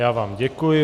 Já vám děkuji.